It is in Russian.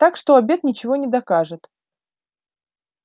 так что обед ничего не докажет